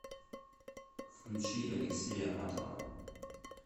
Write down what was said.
включи алексея матова